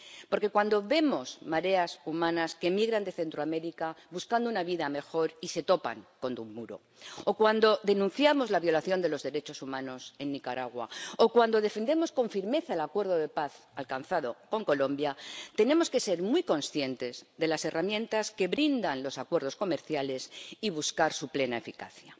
Porque cuando vemos mareas humanas que migran de Centroamérica buscando una vida mejor y se topan con un muro, o cuando denunciamos la violación de los derechos humanos en Nicaragua, o cuando defendemos con firmeza el acuerdo de paz alcanzado con Colombia, tenemos que ser muy conscientes de las herramientas que brindan los acuerdos comerciales y buscar su plena eficacia.